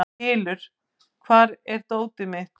Hylur, hvar er dótið mitt?